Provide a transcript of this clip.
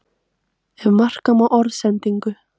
Ef marka má orðsendingu